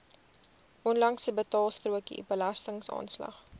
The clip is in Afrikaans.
onlangse betaalstrokie belastingaanslag